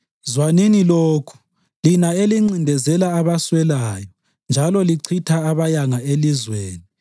Zwanini lokhu, lina elincindezela abaswelayo njalo lichitha labayanga elizweni,